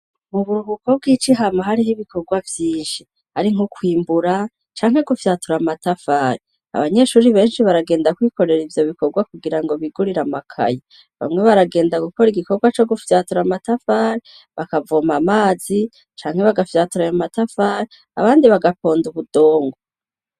Mu buruhuko bw'ici hama hari ibikorwa byishe ari nkukwimbura cankwe gufyatura matavari abanyeshuri benshi baragenda kwikorera ibyo bikorwa kugira ngo bigurira makayi bamwe baragenda gukora igikorwa co gufyatura amatafari bakavoma amazi cankwe bagafyatura ya matafari abandi bagaponda ubudongo.